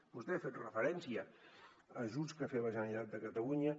vostè ha fet referència a ajuts que ha fet la generalitat de catalunya